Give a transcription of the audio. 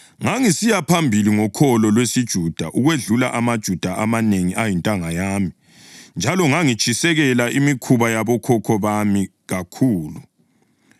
Ngangisiya phambili ngokholo lwesiJuda ukwedlula amaJuda amanengi ayintanga yami njalo ngangitshisekela imikhuba yabokhokho bami kakhulu.